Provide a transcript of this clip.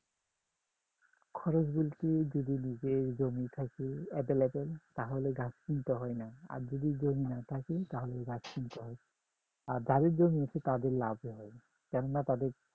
খরচ বলতে যদি নিজের জমি থাকে available তাহলে ঘাস কিনতে হয় না আর যদি জমি না থাকে তাহলে ঘাস কিনতে হয় আর যাদের জমি আছে তাদের লাভ হয় কেননা তাদের